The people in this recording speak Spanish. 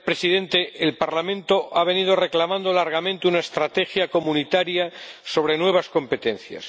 Señor Presidente, el Parlamento ha venido reclamando largamente una estrategia comunitaria sobre nuevas competencias.